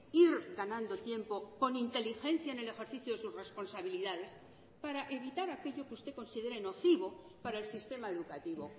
ir ganando tiempo con inteligencia en el ejercicio de sus responsabilidades para evitar aquello que usted considere nocivo para el sistema educativo